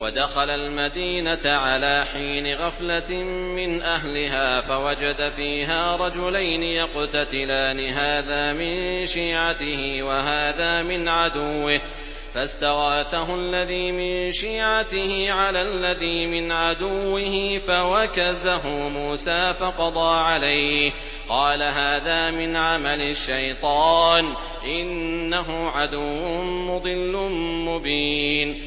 وَدَخَلَ الْمَدِينَةَ عَلَىٰ حِينِ غَفْلَةٍ مِّنْ أَهْلِهَا فَوَجَدَ فِيهَا رَجُلَيْنِ يَقْتَتِلَانِ هَٰذَا مِن شِيعَتِهِ وَهَٰذَا مِنْ عَدُوِّهِ ۖ فَاسْتَغَاثَهُ الَّذِي مِن شِيعَتِهِ عَلَى الَّذِي مِنْ عَدُوِّهِ فَوَكَزَهُ مُوسَىٰ فَقَضَىٰ عَلَيْهِ ۖ قَالَ هَٰذَا مِنْ عَمَلِ الشَّيْطَانِ ۖ إِنَّهُ عَدُوٌّ مُّضِلٌّ مُّبِينٌ